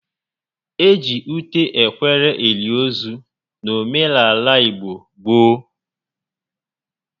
E ji ute ekwere eli ozu n'omenaala igbo gboo